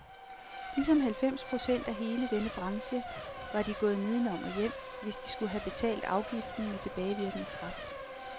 Ligesom halvfems procent af hele denne branche var de gået nedenom og hjem, hvis de skulle have betalt afgiften med tilbagevirkende kraft.